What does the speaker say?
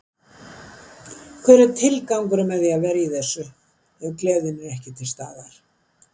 Hver er tilgangurinn með því að vera í þessu ef gleðin er ekki til staðar?